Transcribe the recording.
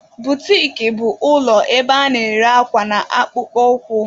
Butiki bụ ụlọ ebe a na-ere akwa na akpụkpọ ụkwụ.